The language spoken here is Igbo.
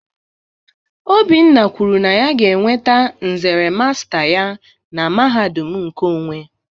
Obinna kwuru na ya ga-enweta nzere masta ya na mahadum nkeonwe